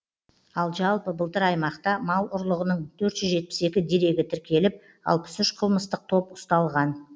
ал жалпы былтыр аймақта мал ұрлығының төрт жүз жетпіс екі дерегі тіркеліп алпыс үш қылмыстық топ ұсталған